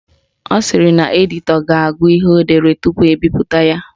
Ọ sịrị na editọ ga-agụ ihe o dere tupu ebipụta ya